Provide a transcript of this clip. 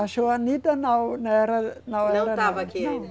A Joanita não era, não era. Não estava aqui ainda?